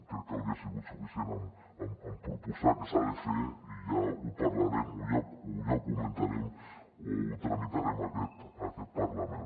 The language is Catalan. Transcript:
crec que hauria sigut suficient amb proposar què s’ha de fer i ja ho parlarem o ja ho comentarem o ho tramitarem en aquest parlament